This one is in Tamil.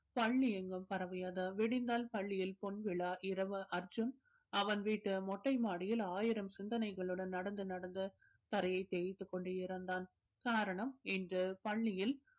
பள்ளி எங்கும் பரவியது விடிந்தால் பள்ளியில் பொன்விழா இரவு அர்ஜுன் அவன் வீட்டு மொட்டை மாடியில் ஆயிரம் சிந்தனைகளுடன் நடந்து நடந்து தரையை தேய்த்துக் கொண்டே இருந்தான் காரணம் இன்று பள்ளியில்